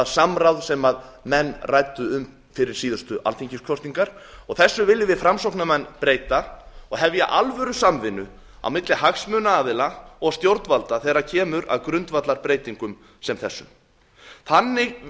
samráð sem menn ræddu um fyrir síðustu alþingiskosningar þessu viljum við framsóknarmenn breyta og hefja alvörusamvinnu á milli hagsmunaaðila og stjórnvalda þegar kemur að grundvallarbreytingum sem þessum þannig